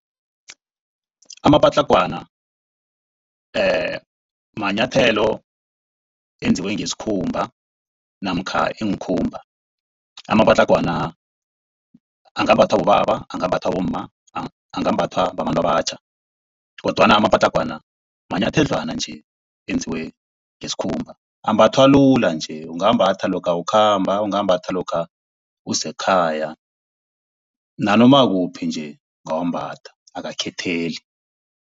Amapatlagwana manyathelo enziwe ngesikhumba namkha iinkhumba. Amapatlagwana angambathwa bobaba, angambathwa bomma, angambathwa babantu abatjha kodwana amapatlagwana manyathedlwana nje enziwe ngesikhumba. Ambathwa lula nje ungawambathwa lokha ukhamba, ungawambatha lokha usekhaya nanoma kuphi nje ungawambatha akakhetheli.